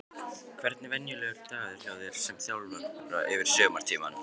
Hvernig er venjulegur dagur hjá þér sem þjálfara yfir sumartímann?